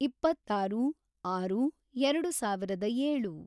ಇಪ್ಪತ್ತಾರು, ಆರು, ಎರೆಡು ಸಾವಿರದ ಏಳು